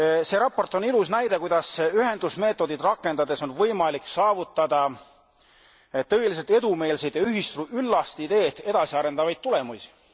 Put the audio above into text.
See raport on ilus näide, kuidas ühenduse meetodit rakendades on võimalik saavutada tõeliselt edumeelseid ja ühist üllast ideed edasiarendavaid tulemusi.